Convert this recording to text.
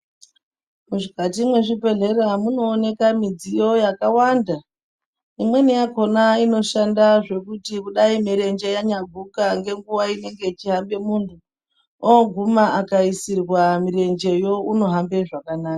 Mukati mwezvibhedhlera munooneka midziyo yakawanda. Imweni yakhona inoshanda zvekuti kudai mirenje yanyaguka ngenguwa iri inenge ichihamba muntu, oguma akaisirwe mirenjeyo unohamba zvakanaka.